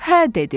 Hə, dedi.